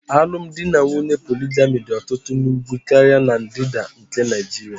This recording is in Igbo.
Alumdinanwunye poligami dị ọtụtụ n'Úgwú karịa na Ndịda nke Naịjiria